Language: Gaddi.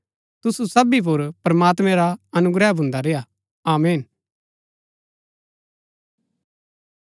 तुसु सबी पुर प्रमात्मैं रा अनुग्रह भुन्दा रेय्आ आमीन